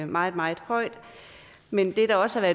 meget meget højt men det der også er